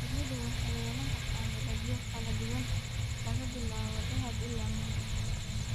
Shinnidu waxay yeelan kartaa midabyo kala duwan, laga bilaabo dahab ilaa mugdi.